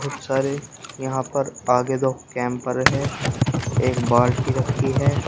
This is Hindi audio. बहुत सारे यहां पर आगे दो कैंपर है एक बाल्टी रखी है।